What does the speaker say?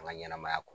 An ka ɲɛnɛmaya kɔnɔ